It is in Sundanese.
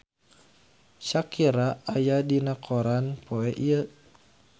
Shakira aya dina koran poe Jumaah